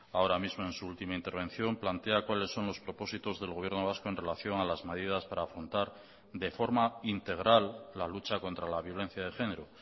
ahora mismo en su última intervención plantea cuáles son los propósitos del gobierno vasco en relación a las medidas para afrontar de forma integral la lucha contra la violencia de género